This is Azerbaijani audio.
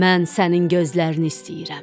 Mən sənin gözlərini istəyirəm.